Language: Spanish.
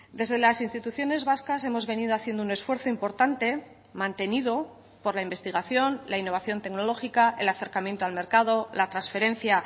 desde las instituciones vascas hemos venido haciendo un esfuerzo importante mantenido por la investigación la innovación tecnológica el acercamiento al mercado la transferencia